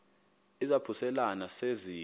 izaphuselana se zide